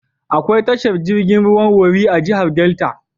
Akwai tashar jirgin ruwan Warri a jihar Delta.